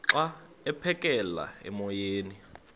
xa aphekela emoyeni